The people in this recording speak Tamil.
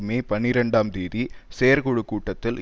மே பனிரெண்டாம் தேதி செயற்குழு கூட்டத்தில்